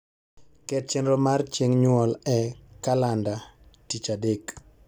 ket chenro mar chieng nyuol e kalanda tich adek